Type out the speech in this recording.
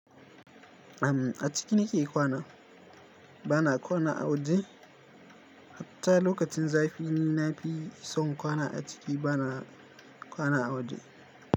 Am a ciki nike kwana bana kwana a waje. Hatta lokacin zafi ni nafi son kwana a ciki bana kwana a waje.